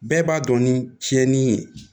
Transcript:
Bɛɛ b'a dɔn ni tiɲɛni ye